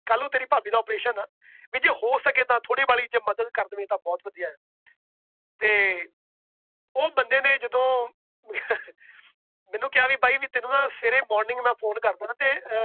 ਕੱਲ੍ਹ ਨੂੰ ਤੇਰੀ ਭਾਬੀ ਦਾ operation ਆਂ ਵੀ ਜੇ ਹੋ ਸਕੇ ਤਾਂ ਥੋੜ੍ਹੀ ਬਾਹਲੀ ਜੇ ਮਦਦ ਕਰ ਦੇਵੇਂ ਤਾਂ ਬਹੁਤ ਵਧੀਆ ਹੈ ਤੇ ਉਹ ਬੰਦੇ ਨੇ ਜਦੋਂ ਮੈਨੂੰ ਕਿਹਾ ਵੀ ਬਾਈ ਵੀ ਤੈਨੂੰ ਨਾ ਸਵੇਰੇ morning ਮੈਂ phone ਕਰਦਾਂ ਤੇ ਅਹ